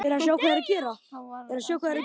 Þá var þetta sama sagan.